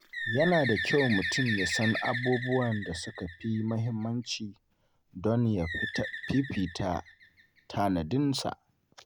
Yana da kyau mutum ya san abubuwan da suka fi muhimmanci don ya fifita tanadinsa.